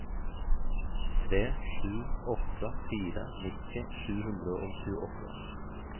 tre sju åtte fire nitti sju hundre og tjueåtte